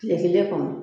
Kile kelen kɔnɔ